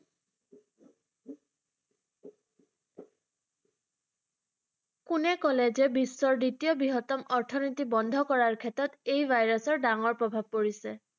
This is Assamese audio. কোনে কলে যে বিশ্বৰ দ্বিতীয় বৃহত্তম অৰ্থনীতি বন্ধ কৰাৰ ক্ষেত্ৰত এই ভাইৰাছৰ ডাঙৰ প্ৰভাৱ পৰিছে?